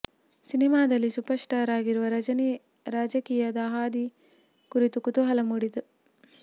ಸಿನಿಮಾದಲ್ಲಿ superstar ಆಗಿರುವ ರಜನಿ ರಾಜಕೀಯದ ಹಾದಿ ಕುರಿತು ಕುತೂಹಲ ಮೂಡಿದೆ